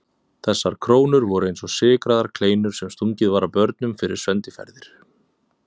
Þessar krónur voru eins og sykraðar kleinur sem stungið var að börnum fyrir sendiferðir.